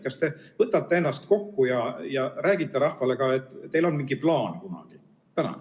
Kas te võtate ennast kokku ja räägite rahvale kunagi ka, et teil on mingi plaan?